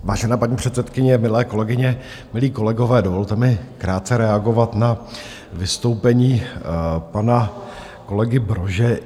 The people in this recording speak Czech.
Vážená paní předsedkyně, milé kolegyně, milí kolegové, dovolte mi krátce reagovat na vystoupení pana kolegy Brože.